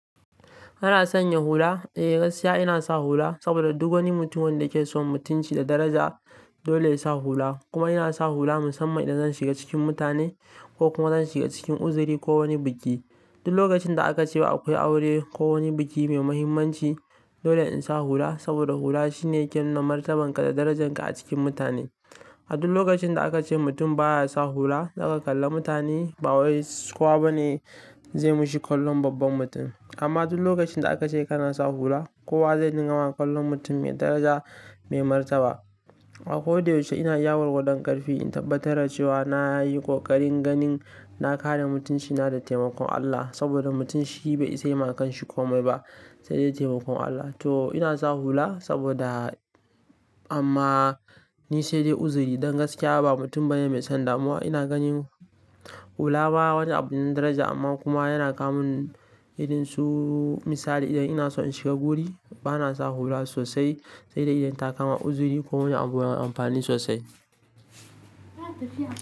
Ana sanya hula? Eh gaskiya ina sa hula saboda duk wani mutum wanda ke so mutunci da daraja dole ya sa hula. Kuma yana sa hula musamman idan zan shiga cikin mutane ko kuma zan shiga cikin uzuri ko wani biki. Duk lokacin da aka ce akwai aure ko wani biki mai muhimmanci dole in sa hula saboda hula shine ke nuna martabanka da darajanka a cikin mutane. A duk lokacin da aka ce mutum baya sa hula, haka kalla mutane ba wa kowa bane zai mishi kallon babban mutum. Amma duk lokacin da aka ce kana sa hula, kowa zai dinga wa kallon mutum mai daraja mai martaba. A ko da yaushe ina yawo da ƙarfi in tabbatar da cewa na yi ƙoƙarin ganin na kare mutuncina da taimakon Allah saboda mutum shi bai isa yaima kanshi komai ba sai dai taimakon Allah. To ina sa hula saboda amma ni sai dai uzuri don gaskiya ba mutum bane mai son damuwa. Ina ganin hula baya wata abin daraja amma kuma yana kawo min irin su misali idan ina so in shiga guri bana sa hula sosai sai dai idan takama uzuri ko wani abu na amfani sosai.